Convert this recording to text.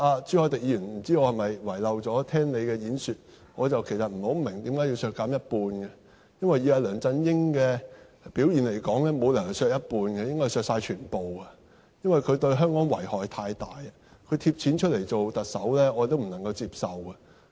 朱凱廸議員，不知道我是否遺漏聆聽你的發言，我不太明白為何是削減一半，因為以梁振英的表現來說，沒有理由是削減一半，應該是削減全部，因為他對香港遺害太大，他"貼錢"做特首我也不能接受。